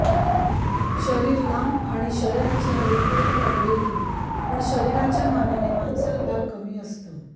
शरीर लांब आणि शरीराची हाडे पूर्ण वाढलेली पण शरीराच्या मानाने मांसल भाग कमी असतो